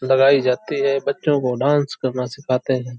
लगाई जाती है। बच्चों को डांस करना सिखाते है।